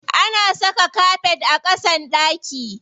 Ana saka kafet a ƙasan ɗaki.